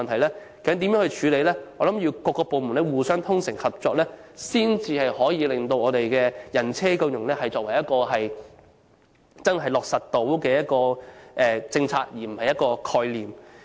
這些問題應如何處理，我相信只有各部門互相衷誠合作，才可令"人車共融"成為一項可以落實的政策而不只是一個概念。